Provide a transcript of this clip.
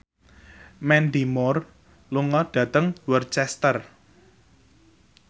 Mandy Moore lunga dhateng Worcester